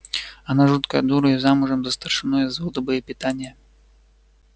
она жуткая дура и замужем за старшиной из взвода боепитания